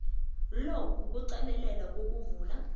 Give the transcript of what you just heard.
lo kuqalelela ukuvulwa